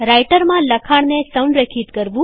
રાઈટરમાં લખાણને સંરેખિત કરવું